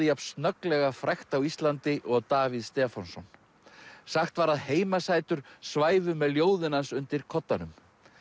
jafn snögglega frægt á Íslandi og Davíð Stefánsson sagt var að heimasætur svæfu með ljóðin hans undir koddanum